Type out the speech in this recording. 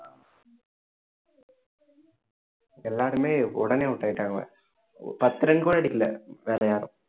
எல்லாருமே உடனே out ஆயிட்டாங்க பத்து run கூட எடுக்கல வேற யாரும்